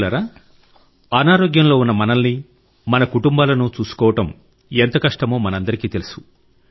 మిత్రులారా అనారోగ్యంలో ఉన్న మనల్ని మన కుటుంబాలను చూసుకోవడం ఎంత కష్టమో మనందరికీ తెలుసు